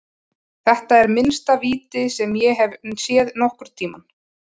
Þetta er minnsta víti sem ég hef séð nokkurntímann.